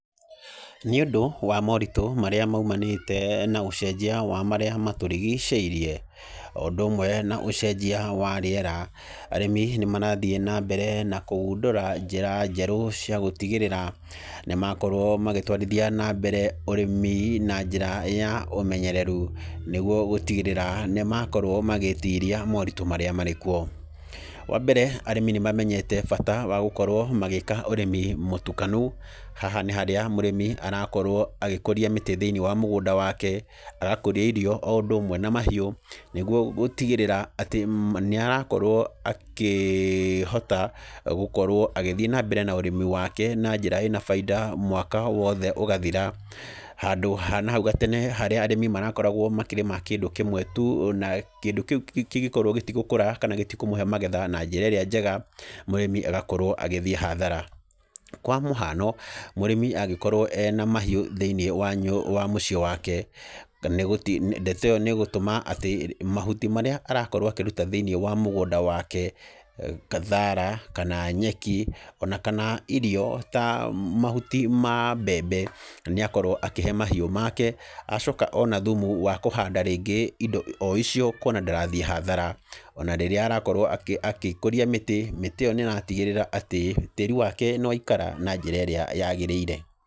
Nĩ ũndũ, wa moritũ marĩa maumanĩte na ũcenjia wa marĩa matũrigicĩirie, o ũndũ ũmwe na ũcenjia wa rĩera, arĩmi nĩ marathiĩ na mbere na kũgundũra njĩra njerũ cia gũtigĩrĩra, nĩ makorwo magĩtwarithia na mbere ũrĩmi na njĩra ya ũmenyereru. Nĩguo gũtigĩrĩra, nĩ makorwo magĩtiria moritũ marĩa marĩ kuo. Wa mbere, arĩmi nĩ mamenyete bata wa gũkorwo magĩĩka ũrĩmi mũtukanu. Haha nĩ harĩa mũrĩmi, arakorwo agĩkũria mĩtĩ thĩiniĩ wa mũgũnda wake, agakũria irio o ũndúũũmwe na mahiũ, nĩguo gũtigĩrĩra, atĩ nĩ arakorwo akĩhota, gũkorwo agĩthiĩ na mbere na ũrĩmi wake na njĩra ĩna baida mwaka wothe ũgathira. Handũ ha nahau gatene harĩa arĩmi marakoragwo makĩrĩma kĩndũ kĩmwe tu, na kĩndũ kĩu kĩngĩkorwo gĩtigũkũra, kana gĩtikũmũhe magetha na njĩra ĩrĩa njega, mũrĩmi agakorwo agĩthiĩ hathara. Kwa mũhano, mũrĩmi angĩkorwo ena mahiũ thĩiniĩ wa mũciĩ wake, ndeto ĩyo nĩ ĩgũtũma atĩ, mahuti marĩa arakorwo akĩruta thĩiniĩ wa mũgũnda wake, thaara kana nyeki, ona kana irio ta mahuti ma mbembe, nĩ akorwo akĩhe mahiũ make, acoka ona thumu wa kũhanda rĩngĩ indo o icio kuona ndarathiĩ hathara. Ona rĩrĩa arakorwo akĩkũria mĩtĩ, mĩtĩ ĩyo nĩ ĩratigĩrĩra atĩ, tĩri wake nĩ waikara na njĩra ĩrĩa yagĩrĩire.